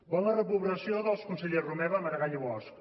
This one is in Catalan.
volen la reprovació dels consellers romeva maragall i bosch